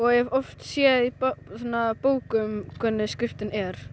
hef oft séð í bókum hvernig skriftin er